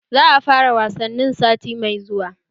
Za'a fara wasannin sati mai zuwa